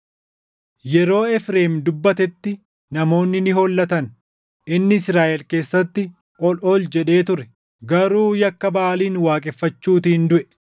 Yeroo Efreem dubbatetti namoonni ni hollatan; inni Israaʼel keessatti ol ol jedhee ture. Garuu yakka Baʼaalin waaqeffachuutiin duʼe.